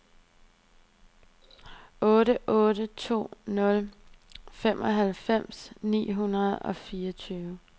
otte otte to nul femoghalvfems ni hundrede og fireogtyve